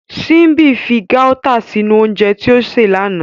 Simbi fi Gauta sinu ounjẹ ti o ṣe lana.